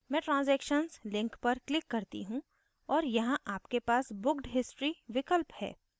मैं transactions link पर click करती हूँ और यहाँ आपके पास booked history विकल्प है